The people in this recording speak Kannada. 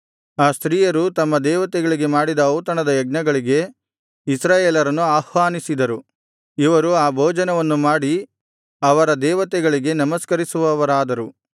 ಆ ಸ್ತ್ರೀಯರು ತಮ್ಮ ದೇವತೆಗಳಿಗೆ ಮಾಡಿದ ಔತಣದ ಯಜ್ಞಗಳಿಗೆ ಇಸ್ರಾಯೇಲರನ್ನು ಆಹ್ವಾನಿಸಿದರು ಇವರು ಆ ಭೋಜನವನ್ನು ಮಾಡಿ ಅವರ ದೇವತೆಗಳಿಗೆ ನಮಸ್ಕರಿಸುವವರಾದರು